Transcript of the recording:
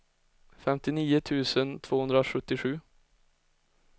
femtionio tusen tvåhundrasjuttiosju